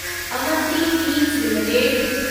Avanti feeds limited